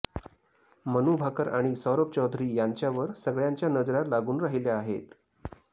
मनू भाकर आणि सौरभ चौधरी यांच्यावर सगळ्यांच्या नजरा लागून राहिल्या आहेत